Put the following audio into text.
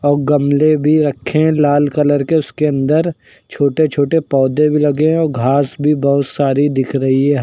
और गमले भी रखे है लाल कलर के उसके अंदर छोटे छोटे पौधे भी लगे हैं और घास भी बहोत सारी दिख रही है ह --